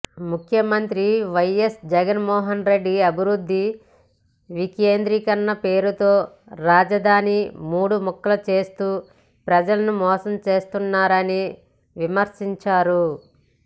ముఖ్యమంత్రి వైఎస్ జగన్మోహన్ రెడ్డి అభివృద్ధి వికేంద్రీకరణ పేరుతో రాజధానిని మూడు ముక్కలు చేస్తూ ప్రజలను మోసం చేస్తున్నారని విమర్శించారు